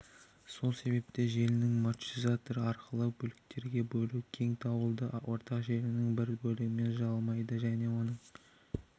сол себепті желінің маршрутизатор арқылы бөліктерге бөлу кең дауылды ортақ желінің бір бөлігімен жайылмайды оның себебі